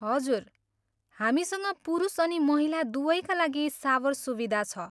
हजुर, हामीसँग पुरुष अनि महिला दुवैका लागि सावर सुविधा छ।